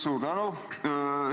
Suur tänu!